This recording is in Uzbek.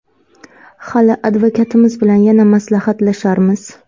Hali advokatimiz bilan yana maslahatlasharmiz.